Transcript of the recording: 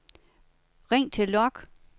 ring til log